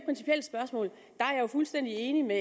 fuldstændig enig med